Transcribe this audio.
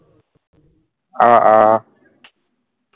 অ অ